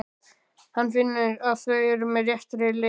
Hann finnur að þau eru á réttri leið.